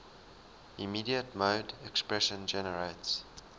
immediate mode expression generates